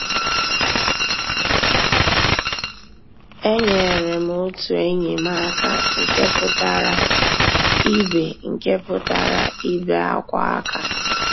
Ényéré m ótú ényí m àká nkè pụ́tárá ìbé nkè pụ́tárá ìbé ákwá àká.